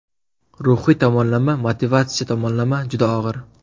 Ruhiy tomonlama, motivatsiya tomonlama juda og‘ir.